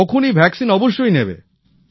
তখনই টিকা অবশ্যই নেবে